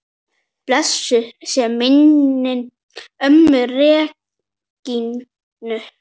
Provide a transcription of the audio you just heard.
Blessuð sé minning ömmu Regínu.